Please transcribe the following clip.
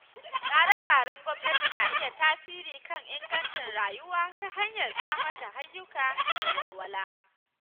Tsare-tsaren gwamnati na iya tasiri kan ingancin rayuwa ta hanyar samar da ayyuka da walwala.